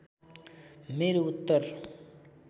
मेरो उत्तर